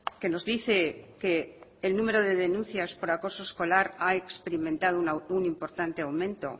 que nos dice que el número de denuncias por acoso escolar ha experimentado un importante aumento